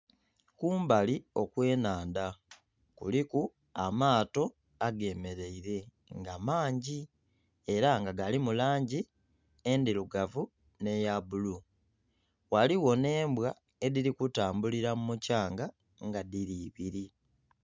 Kumbali okw'enhandha kuliku amaato agemereire nga mangi era nga galimu langi endhirugavu n'eya bbulu ghaligho n'embwa edhiri kutambulira mumukyanga nga dhiri ibiri.